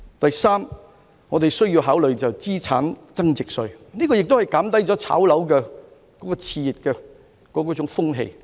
第三，我們需要考慮資產增值稅，這有助減低炒賣樓宇的熾熱風氣。